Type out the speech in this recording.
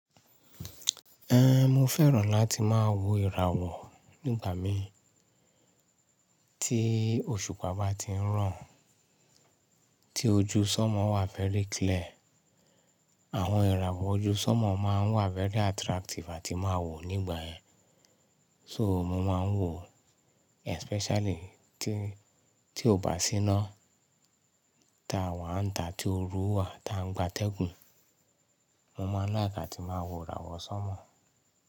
Ehn, mo fẹ́ràn láti máa wo ìràwọ̀ nígbà mi tí òṣùpá bá ti ń ràn, tí ojú sánmọ̀ wà very clear. Àwọn ìràwọ̀ ojú sánmọ̀ máa ń wà very attractive àti máa wò nígbà yẹn. So mo máa ń wò especially tí, tí ó bá síná ta wàá ń ta tí oru wà tá ń gba tẹ́gùn. Mo máa n láìkì ati máa wo ìràwọ̀ sánmọ̀